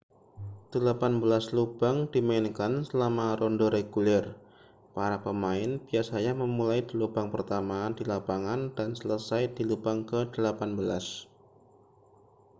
delapan belas lubang dimainkan selama ronde reguler para pemain biasanya memulai di lubang pertama di lapangan dan selesai di lubang ke-18